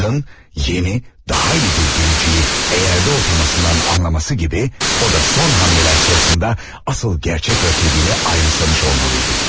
Atın yeni, daha iyi bir binicini eğerde oturmasından anlaması gibi o da son hamleler sırasında asıl gerçek rəqibini ayrımsamış olmalıydı.